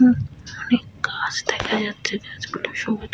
উ অনেক গাছ দেখা যাচ্ছে গাছগুলো সবুজ।